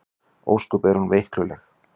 Ósköp er hún veikluleg.